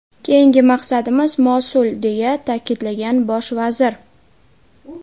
Keyingi maqsadimiz Mosul”, deya ta’kidlagan bosh vazir.